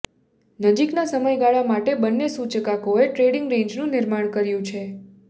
નજીકના સમયગાળા માટે બંને સૂચકાંકોએ ટ્રેડિંગ રેન્જનું નિર્માણ કર્યું છે